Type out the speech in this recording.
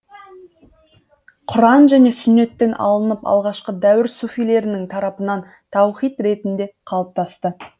құран және сүннеттен алынып алғашқы дәуір суфилерінің тарапынан таухид ретінде қалыптасты